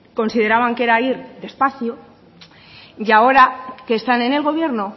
consideraban que era ir despacio y ahora que están en el gobierno